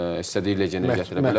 İstədiyi legionu gətirə bilər.